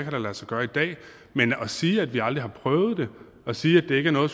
kan lade sig gøre i dag men at sige at vi aldrig har prøvet det og at sige at det ikke er noget